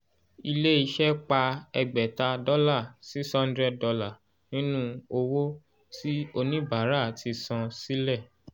ilẹ̀ ìṣe pá ẹgbẹ̀ta dọ́là six hundred dollars nínú owó tí oníbàárà ti san sílẹ̀